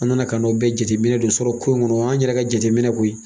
An nana k'a n'o bɛɛ jateminɛ don sɔrɔ ko in kɔnɔ, an yɛrɛ ka jateminɛ koyi.